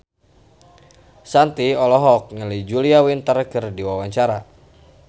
Shanti olohok ningali Julia Winter keur diwawancara